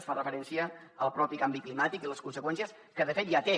es fa referència al propi canvi climàtic i a les conseqüències que de fet ja té